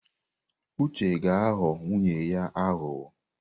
Uche ga-aghọ nwunye ya aghụghọ.